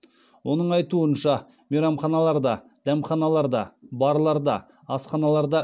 оның айтуынша мейрамханаларда дәмханаларда барларда асханаларда